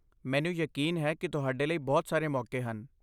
ਮੈਨੂੰ ਯਕੀਨ ਹੈ ਕਿ ਤੁਹਾਡੇ ਲਈ ਬਹੁਤ ਸਾਰੇ ਮੌਕੇ ਹਨ।